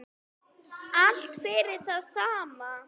Allt fyrir það sama.